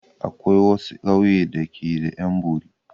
Akwai wasu ƙauye da ke da 'yan bori.